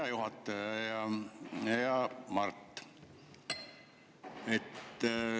Hea juhataja ja hea Mart!